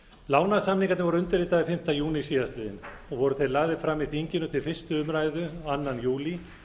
lánasamningarnir voru undirritaðir fimmta júní síðastliðinn og voru þeir lagðir fram í þinginu til fyrstu umræðu annan júlí